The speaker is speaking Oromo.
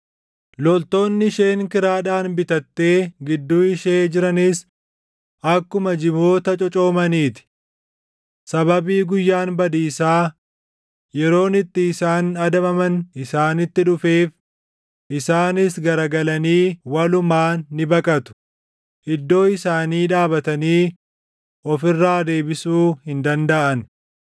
Loltoonni isheen kiraadhaan bitattee gidduu ishee jiranis akkuma jiboota cocoomanii ti. Sababii guyyaan badiisaa, yeroon itti isaan adabaman isaanitti dhufeef isaanis garagalanii walumaan ni baqatu; iddoo isaanii dhaabatanii of irraa deebisuu hin dandaʼan.